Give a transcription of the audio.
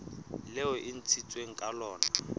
leo e ntshitsweng ka lona